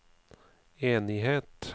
enighet